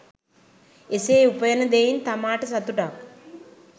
එසේ උපයන දෙයින් තමාට සතුටක්